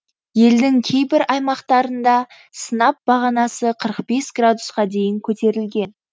елдің кейбір аймақтарында сынап бағанасы қырық бес градусқа дейін көтерілген